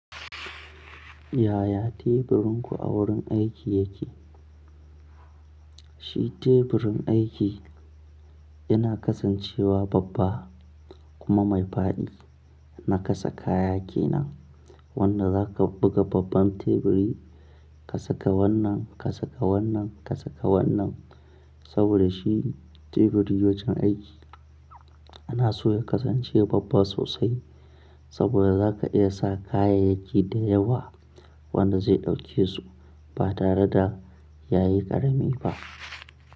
Yaya teburinku a wurin aiki yake? Shi teburin aiki yana kasancewa babba kuma mai faɗi na kasa kaya kenan wanda zaka buga babban teburi ka saka wannan, ka saka wannan, ka saka wannan. Saboda shi teburi wajen aiki ana so ya kasance babba sosai saboda zaka iya sa kayayyaki da yawa wanda zai ɗauke su ba tare da yayi ƙarami ba.